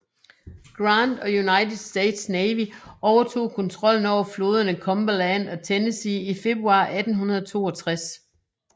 Grant og United States Navy overtog kontrollen over floderne Cumberland og Tennessee i februar 1862